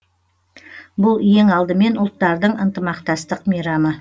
бұл ең алдымен ұлттардың ынтымақтастық мейрамы